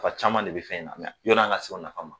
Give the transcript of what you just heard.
Nafa caman de be fɛn in na. yoni an ka se nafa ma